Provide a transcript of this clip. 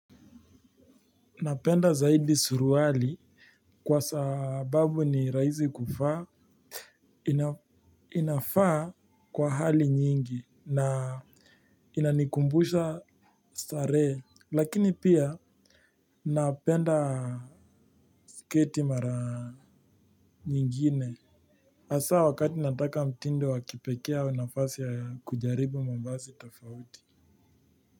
Napenda zaidi suruali kwa sababu na rahisi kuvaa inayo inafaa kwa hali nyingi na inanikumbusha starehe lakini pia napenda sketi mara nyingine hasaa wakati nataka mtindo wakipekee ama nafasi ya kujaribu mavazi tofauti.